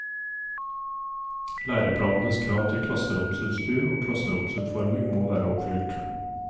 Læreplanenes krav til klasseromsutstyr og klassromsutforming må være oppfylt.